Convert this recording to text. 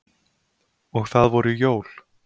Og það voru jól.